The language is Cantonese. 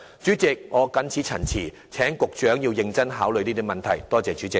主席，我謹此陳辭，請局長認真考慮這些問題，多謝主席。